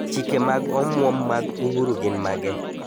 Chike mag omwom mag uhuru gin mage